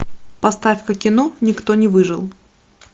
поставь ка кино никто не выжил